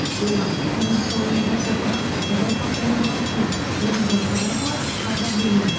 олар тек музыка өнеріне қосылған жауһар туынды ғана емес орындаушылар арқылы қазақ елін